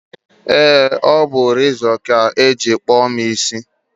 ee, ọ bụ rezọ ka e jiri kpụọ mụ isi